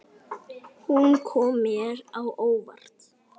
Hún kom mér á óvart.